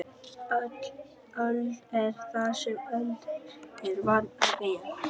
Öl er þar sem öl er vant að vera.